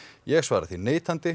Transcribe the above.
ég svara því neitandi